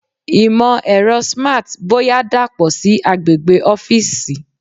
Imọ-ẹrọ Smart boya dapọ si agbegbe ọfiisi